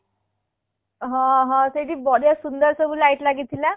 ହଁ ହଁ ସେଇଠି ବଢ଼ିଆ ସୁନ୍ଦର ସବୁ light ଲାଗି ଥିଲା